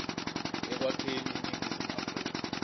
ekwakheni iningizimu afrika